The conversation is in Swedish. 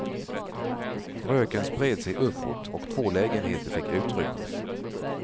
Röken spred sig uppåt och två lägenheter fick utrymmas.